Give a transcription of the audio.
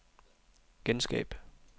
genskab